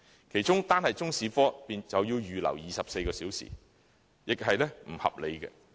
其中，單是中史科便要預留24小時，並不合理。